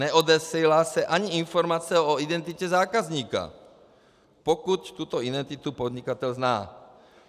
Neodesílá se ani informace o identitě zákazníka, pokud tuto identitu podnikatel zná.